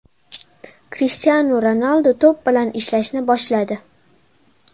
Krishtianu Ronaldu to‘p bilan ishlashni boshladi.